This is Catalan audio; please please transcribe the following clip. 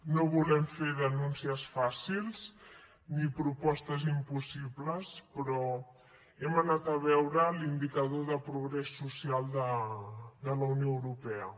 no volem fer denúncies fàcils ni propostes impossibles però hem anat a veure l’indicador de progrés social de la unió europea